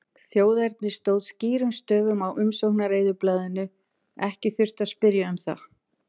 Þjóðernið stóð skýrum stöfum á umsóknareyðublaðinu, ekki þurfti að spyrja um það.